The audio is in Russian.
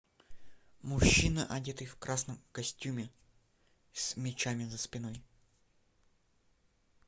мужчина одетый в красном костюме с мечами за спиной